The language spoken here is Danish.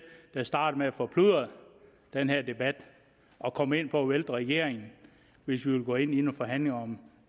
der startede med at forplumre den her debat og kom ind på at vælte regeringen hvis vi ville gå ind i nogle forhandlinger om